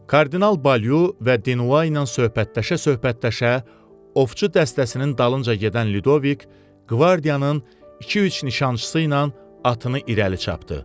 Kardinal Balyu və Dinla söhbətləşə-söhbətləşə ovçu dəstəsinin dalınca gedən Ludoviq qvardiyanın iki-üç nişançısı ilə atını irəli çapdı.